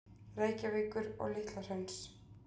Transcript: Reykjavíkur og Litla-Hrauns.